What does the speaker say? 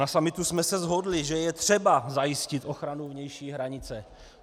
Na summitu jsme se shodli, že je třeba zajistit ochranu vnější hranice.